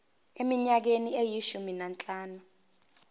eminyakeni eyishumi nanhlanu